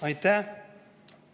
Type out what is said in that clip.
Aitäh!